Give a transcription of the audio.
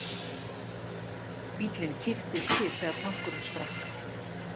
Bíllinn kipptist til þegar tankurinn sprakk.